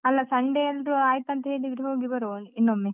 ಅಲ್ಲ Sunday ಎಲ್ರೂ ಆಯ್ತಂತ ಹೇಳಿದ್ರೆ, ಹೋಗಿಬರುವ ಇನ್ನೊಮ್ಮೆ.